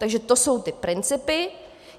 Takže to jsou ty principy.